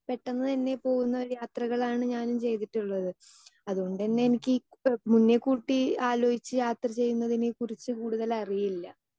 speaker 2 പെട്ടെന്നുതന്നെ പോകുന്ന യാത്രകളാണ് ഞാനും ചെയ്തിട്ടുള്ളത് അതുകൊണ്ടുതന്നെ എനിക്ക് ഈ മുന്നേ കൂട്ടി ആലോചിച്ച് യാത്ര ചെയ്യുന്നതിനെക്കുറിച്ച് കൂടുതലായി അറിയില്ല